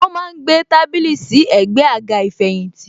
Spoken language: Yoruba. Wọn má ń gbé tábìlì sí ẹ̀gbẹ́ àga ìfẹ̀yìntì.